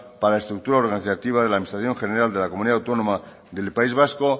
para la estructura organizativa de la administración general de la comunidad autónoma del país vasco